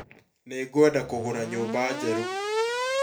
Nĩngwenda kũgũra nyũmba njerũ